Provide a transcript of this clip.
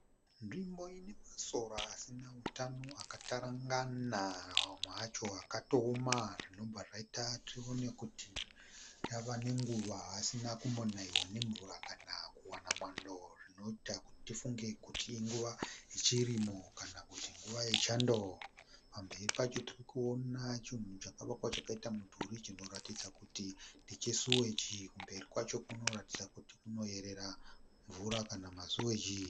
Nzvimbo inemasora asina hutano, akatarangana , amwe acho akatooma, zvinobva zvaita tione kuti ava nenguva asina kumbonaiwa nemvura kana kuwana mwando, zvinoita kuti tifunge kuti inguva yechirimo kana kuti nguva yechando. Pamberi pacho tirikuona chinhu chakavakwa chakaita mudhuri chirikuratidza kuti ndechesiwegi, kumberi kwacho kurikuratidza kuti kunoerera mvura kana kuti siwegi